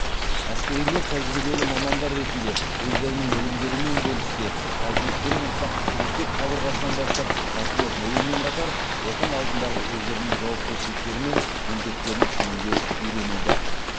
әскерилер тәжибелі мамандар ретінде өздерінің білімдерімен бөліссе ал өскелең ұрпақ мектеп қабырғасынан бастап патриот болумен қатар отан алдындағы өздерінің жауапкершіліктері мен міндеттерін түсінуге үйренеді